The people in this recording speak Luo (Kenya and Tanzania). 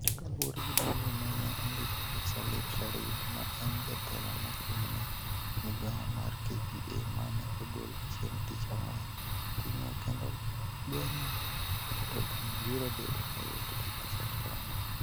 Kaluwore gi barua ma ne ondik gi Salim Rashid ma en Jatelo mochung' ne migawo mar KPA ma ne ogol chieng' Tich Ang'wen, ting'o kendo gonyo mtokni biro bedo mayot gi pasent 40.